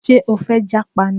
Ṣé o fẹ́ jápa ni?